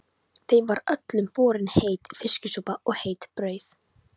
Þeim var öllum borin heit fiskisúpa og heitt brauð.